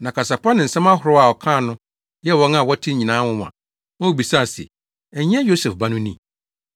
Na kasa pa ne nsɛm ahorow a ɔkaa no yɛɛ wɔn a wɔtee nyinaa nwonwa ma wobisaa se, “Ɛnyɛ Yosef ba no ni?”